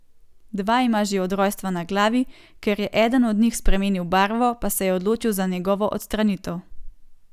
Dva ima že od rojstva na glavi, ker je eden od njih spremenil barvo, pa se je odločil za njegovo odstranitev.